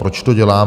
Proč to dělám?